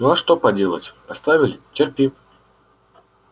ну а что поделать поставили терпи